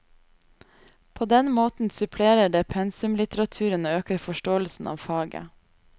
På den måten supplerer det pensumlitteraturen og øker forståelsen av faget.